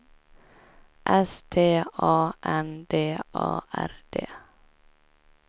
S T A N D A R D